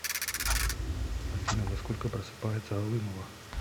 афина во сколько просыпается алымова